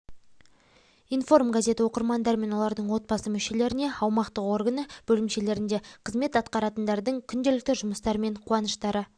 информ газеті оқырмандары мен олардың отбасы мүшелеріне аумақтық органы бөлімшелерінде қызмет атқаратындардың күнделікті жұмыстары мен қуаныштары